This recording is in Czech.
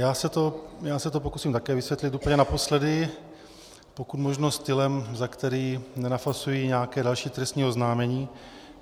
Já se to pokusím také vysvětlit úplně naposledy, pokud možno stylem, za který nenafasuji nějaké další trestní oznámení.